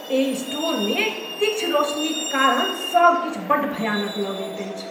एहि स्टोरमे तीक्ष्ण रोशनीक कारण सब किछु बड्ड भयानक लगैत अछि।